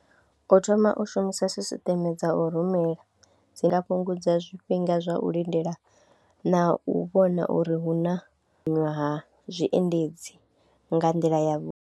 U thoma u shumisa sisiṱeme dza u rumela dzi nga fhungudza zwifhinga zwa u lindela na u vhona uri hu na ṅwaha zwiendedzi nga nḓila yavhuḓi.